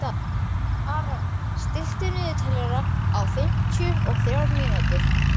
Aron, stilltu niðurteljara á fimmtíu og þrjár mínútur.